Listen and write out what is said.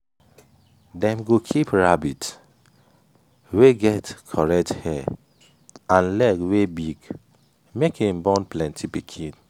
dem go keep rabbit wey get correct hair and leg wey big make him born plenty pikin